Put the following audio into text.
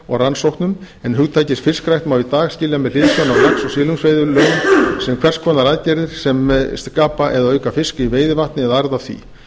og rannsóknum en hugtakið fiskrækt má í dag skilja með hliðsjón af lax og silungsveiðilögum sem hvers konar aðgerðir sem skapa eða auka fisk í veiðivatni eða arð af því